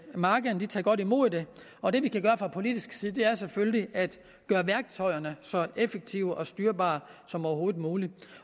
markederne tager godt imod det og det vi kan gøre fra politisk side er selvfølgelig at gøre værktøjerne så effektive og styrbare som overhovedet muligt